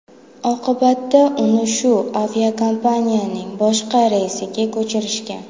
Oqibatda uni shu aviakompaniyaning boshqa reysiga ko‘chirishgan.